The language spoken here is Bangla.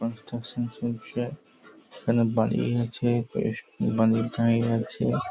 কনস্ট্রাকশন চলছে এখানে বাড়ি আছে-- আছে ।